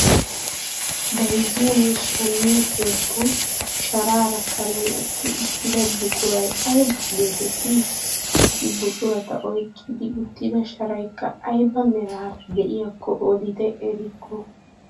Bayzziyoonne shammiyoo keettan sharaara karen eqqi uttida buquray ayba getettii? Qassi buqurata oyqqi uttida sharaykka ayba meraara de'iyaakko odite erikko?